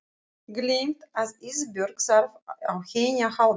Gleymt að Ísbjörg þarf á henni að halda.